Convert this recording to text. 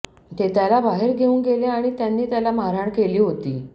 ते त्याला बाहेर घेऊन गेले आणि त्यांनी त्याला मारहाण केली होती